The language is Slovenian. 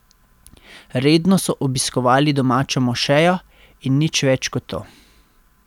Redno so obiskovali domačo mošejo, in nič več kot to.